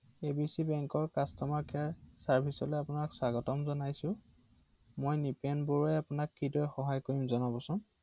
hello